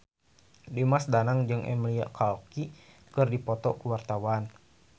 Dimas Danang jeung Emilia Clarke keur dipoto ku wartawan